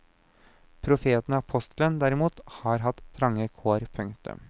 Profeten og apostelen derimot har hatt trange kår. punktum